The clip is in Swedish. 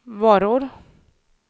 varor